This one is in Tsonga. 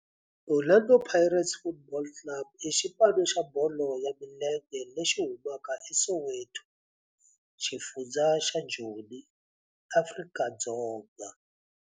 Orlando Pirates Football Club i xipano xa bolo ya milenge lexi humaka eSoweto, xifundzha xa Joni, Afrika-Dzonga.